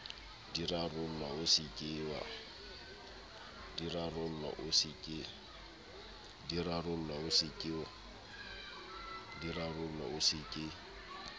di rarollwa o se ke